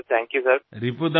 खूप खूप आभार सर